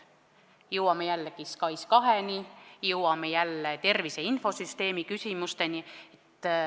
Jõuame jällegi SKAIS2-ni, jõuame jälle tervise infosüsteemi küsimusteni.